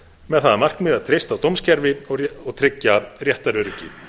með það að markmiði að treysta á dómskerfi og tryggja réttaröryggi